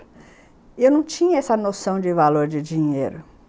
E eu não tinha essa noção de valor de dinheiro.